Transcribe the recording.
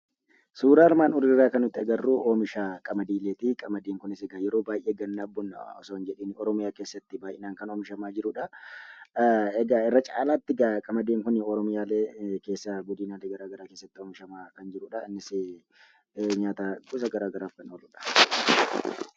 Suuraa armaan oliirraa kan nuti arginuu, oomisha qamadiileeti qamadiin kunisikaa yeroo baayyee gannaaf bona otoo hin jedhiin Oromiyaa keessatti baayyinan kan oomishamaa jiranidhaa. Egaa irra caalaattikaa qamadiin kunii oromiyaalee keessaa godinaalee garagaraa keessatti oomishamaa kan jirudhaa innisi nyaata gosa gararaaf kan ooludha.